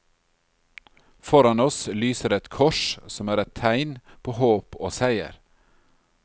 Foran oss lyser et kors som er et tegn på håp og seier.